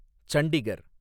Chandigarh